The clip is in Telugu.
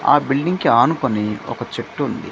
ఆ బిల్డింగ్ కి ఆనుకొని ఒక చెట్టు ఉంది.